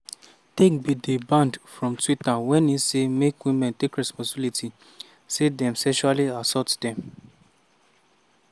tate bin dey banned from twitter wen e say make women take responsibility say dem sexually assault dem.